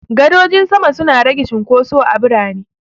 Gadojin sama suna rage cunkoso a birane.